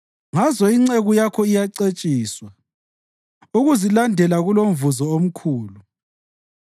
Ngazo inceku yakho iyacetshiswa; ukuzilandela kulomvuzo omkhulu.